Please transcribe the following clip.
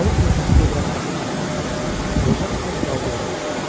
Balıq növbəti dövrəni başa çatdıranda qoca az qaldı onu vursun.